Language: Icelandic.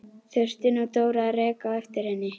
Þurfti nú Dóra að reka á eftir henni!